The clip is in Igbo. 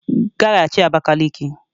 Gaghachi Abakaliki!